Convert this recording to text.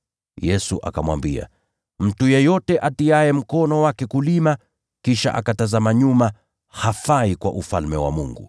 Yesu akamwambia, “Mtu yeyote atiaye mkono wake kulima, kisha akatazama nyuma, hafai kwa Ufalme wa Mungu.”